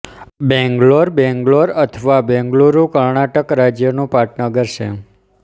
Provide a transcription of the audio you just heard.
બેંગ્લોર બેંગલોર અથવા બેંગલુરુ કર્ણાટક રાજ્યનું પાટનગર છે